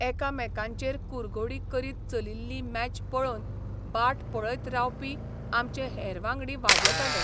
एकामेकांचेर कुरघोडी करीत चलिल्ली मॅच पळोवन बाट पळयत रावपी आमचे हेर वांगडी वाजेताले.